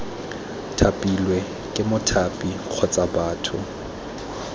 thapilwe ke mothapi kgotsa batho